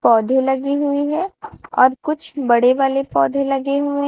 पौधे लगी हुई है और कुछ बड़े वाले पौधे लगे हुए--